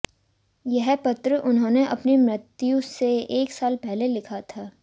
यह पत्र उन्होंने अपनी मृत्यु से एक साल पहले लिखा था